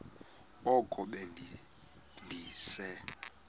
oko be ndise